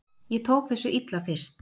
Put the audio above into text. Ég tók þessu illa fyrst.